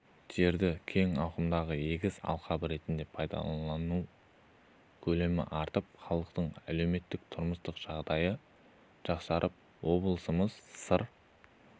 жерді кең ауқымда егіс алқабы ретінде пайдалану көлемі артып халықтың әлеуметтік-тұрмыстық жағдайы жақсарып облысымыз сыр